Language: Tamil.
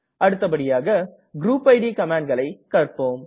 அடுத்தபடியாக குரூப் இட் கமாண்ட்களை கற்ப்போம்